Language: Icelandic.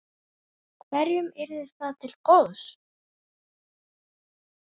Hverjum yrði það til góðs?